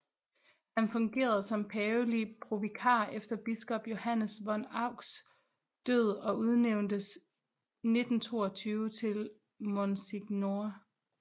Han fungerede som pavelig provikar efter biskop Johannes von Euchs død og udnævntes 1922 til Monsignore